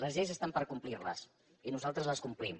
les lleis estan per complirles i nosaltres les complim